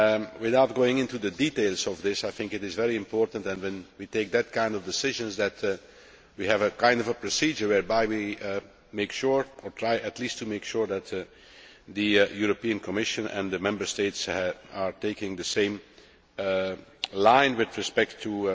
Without going into the details of this, I think it is very important that, when we take that kind of decision, we have a kind of a procedure whereby we at least try to make sure that the European Commission and the Member States are taking the same line with respect to